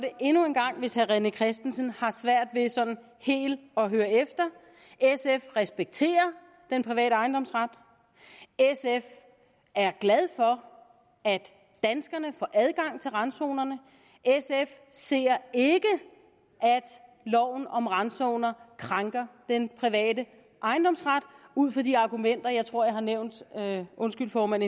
endnu en gang hvis herre rené christensen har svært ved sådan helt at høre efter sf respekterer den private ejendomsret sf er glad for at danskerne får adgang til randzonerne sf ser ikke at loven om randzoner krænker den private ejendomsret ud fra de argumenter jeg tror jeg har nævnt undskyld formand